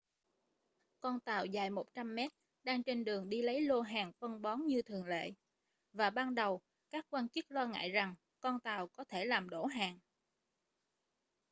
con tàu dài 100 mét đang trên đường đi lấy lô hàng phân bón như thường lệ và ban đầu các quan chức lo ngại rằng con tàu có thể làm đổ hàng